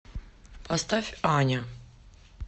поставь аня